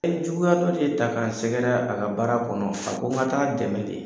Ɛ ye juguya dɔ de ta k'a sɛgɛrɛ a ka baara kɔnɔ, a ko n ka t'a dɛmɛ de!